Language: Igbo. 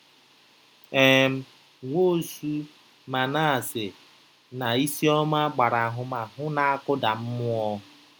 um Nwosu, Manase, na Isioma gbara ahụmahụ na-akụda mmụọ.